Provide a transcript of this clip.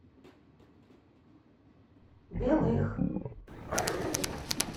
белых